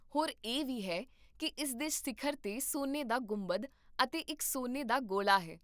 ਹੋਰ ਇਹ ਵੀ ਹੈ ਕੀ ਇਸ ਦੇ ਸਿਖਰ 'ਤੇ ਸੋਨੇ ਦਾ ਗੁੰਬਦ ਅਤੇ ਇੱਕ ਸੋਨੇ ਦਾ ਗੋਲਾ ਹੈ